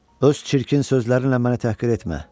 Öz çirkin sözlərinlə məni təhqir etmə.